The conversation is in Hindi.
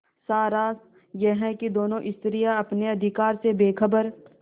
सारांश यह कि दोनों स्त्रियॉँ अपने अधिकारों से बेखबर